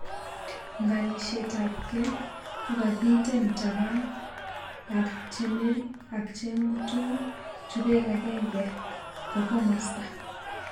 Ngalishet ap ng'ee ko kakiten tapan ak cheng mutung chupek agenge ko komosta